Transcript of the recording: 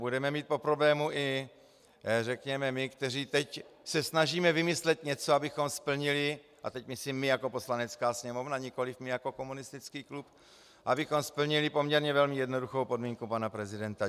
Budeme mít po problému i řekněme my, kteří se teď snažíme vymyslet něco, abychom splnili, a teď myslím my jako Poslanecká sněmovna, nikoliv my jako komunistický klub, abychom splnili poměrně velmi jednoduchou podmínku pana prezidenta.